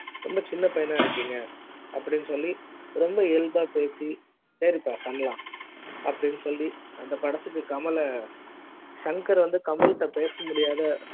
சின்ன பையனா இருக்கிங்க அப்டின்னு சொல்லி ரொம்ப இயல்பா பேசி சரிப்பா பண்ணலாம் அப்டின்னு சொல்லி அந்த படத்தில கமல சங்கர் வந்து கமல கிட்ட பேச முடியாத